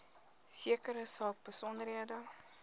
sekere saak besonderhede